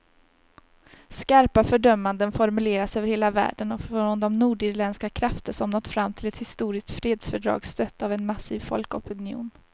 Skarpa fördömanden formuleras över hela världen och från de nordirländska krafter som nått fram till ett historiskt fredsfördrag, stött av en massiv folkopinion.